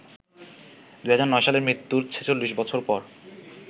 ২০০৯ সালে মৃত্যুর ৪৬ বছর পর